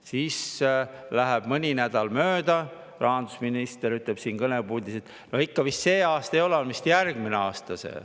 Siis läheb mõni nädal mööda ja rahandusminister ütleb siin kõnepuldis, et ikka vist see aasta seda ei ole, see on vist järgmisel aastal.